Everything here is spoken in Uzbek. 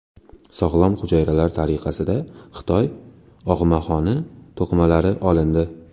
Sog‘lom hujayralar tariqasida Xitoy og‘maxoni to‘qimalari olindi.